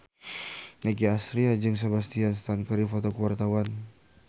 Nicky Astria jeung Sebastian Stan keur dipoto ku wartawan